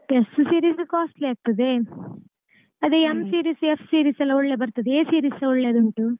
S series costly ಆಗ್ತದೆ ಅದೇ M series F series ಎಲ್ಲ ಒಳ್ಳೆ ಬರ್ತದೆ A series ಒಳ್ಳೆದುಂಟು.